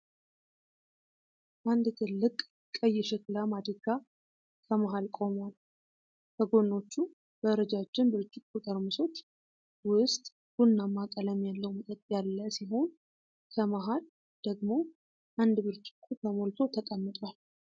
አንድ ትልቅ ቀይ የሸክላ ማድጋ ከመሃል ቆሟል። ከጎኖቹ በረጃጅም ብርጭቆ ጠርሙሶች ውስጥ ቡናማ ቀለም ያለው መጠጥ ያለ ሲሆን፣ ከመሃል ደግሞ አንድ ብርጭቆ ተሞልቶ ተቀምጧል።